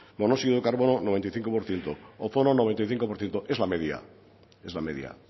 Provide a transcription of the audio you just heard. monóxido de carbono noventa y cinco por ciento ozono noventa y cinco por ciento es la media